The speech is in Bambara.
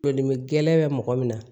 Todimi gɛlɛn bɛ mɔgɔ min na